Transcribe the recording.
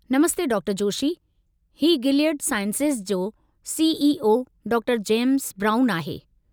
नमस्ते डॉ.जोशी। ही Gilead sciences जो C. ई. ओ. डॉ. James brown आहे।